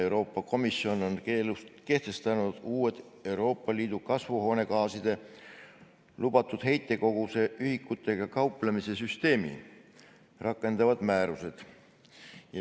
Euroopa Komisjon on kehtestanud uued Euroopa Liidu kasvuhoonegaaside lubatud heitkoguse ühikutega kauplemise süsteemi rakendavad määrused.